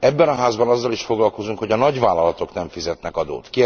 Ebben a Házban azzal is foglalkozunk, hogy a nagyvállalatok nem fizetnek adót.